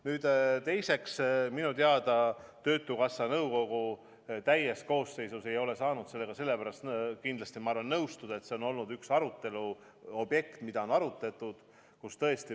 Nüüd teiseks, minu teada töötukassa nõukogu täies koosseisus ei ole saanud palgatoetusega sellepärast nõustuda, et see on olnud üks arutelu objekt.